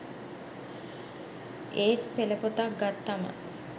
ඒත් පෙළපොතක් ගත්තම